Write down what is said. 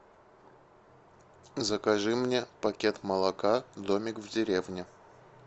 закажи мне пакет молока домик в деревне